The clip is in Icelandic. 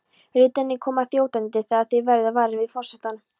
Ritararnir koma þjótandi þegar þeir verða varir við forsetann.